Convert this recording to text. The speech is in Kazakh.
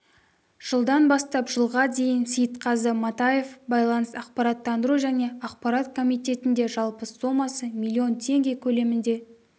жылдан бастап жылға дейін сейітқазы матаев байланыс ақпараттандыру және ақпарат комитетіне жалпы сомасы млн теңге көлемінде